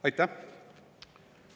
Aitäh!